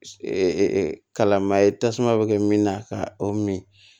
kalama ye tasuma bɛ kɛ min na ka o min